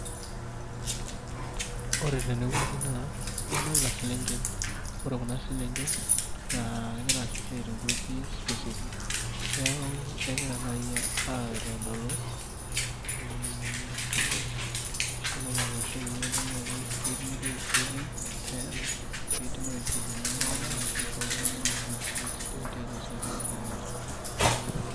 Ore tenewueji naa, kadolta selenken. Ore kuna selenken, naa kegira esiai tewueji specific. Neeku kegira nai aitodolu, empisha ena natooshoki pedoli ajo ketii tayari pidim ai hudumia iltung'anak ashu isho iltung'anak nkiasin sidain tiatua siaitin nasita ninche.